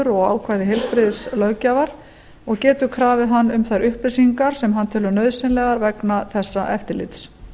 og ákvæði heilbrigðislöggjafar og getur krafið hann um þær upplýsingar sem hann telur nauðsynlegar vegna þessa eftirlits